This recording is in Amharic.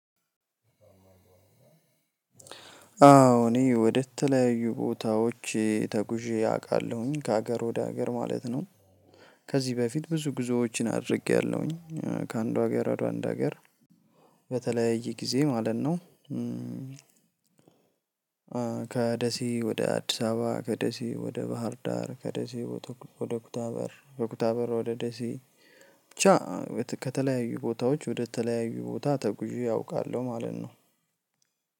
አዎ እኔ ወደተለያዩ ቦታዎች ተጉዤ አውቃለሁኝ ከሀገር ወደ ሀገር ማለት ነው። ከዚህ በፊት ብዙ ጉዞዎችን አድርጌያለሁኝ ከአንዱ ሀገር ወደ አንዱ ሀገር። በተለያየ ጊዜ ማለት ነው። ከደሴ ወደ አዲስ አበባ ከደሴ ወደ ባህር ዳር ከደሴ ወደ ኩታበር ከኩታበር ወደ ደሴ ብቻ ከተለያዩ ቦታዎች ወደ ተለያዩ ቦታ ተጉዤ አውቃለሁ ማለት ነው።